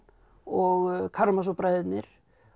og bræðurnir